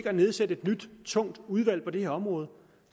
at nedsætte et nyt tungt udvalg på det her område